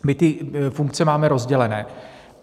My ty funkce máme rozdělené.